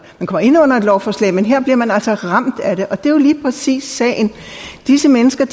kommer ind under et lovforslag men her bliver man altså ramt af det og det er lige præcis sagen disse mennesker